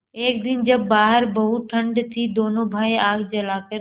एक दिन जब बाहर बहुत ठंड थी दोनों भाई आग जलाकर